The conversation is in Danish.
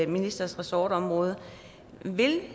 ministers ressortområde vil